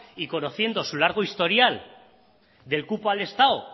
y conociendo su largo historial del cupo al estado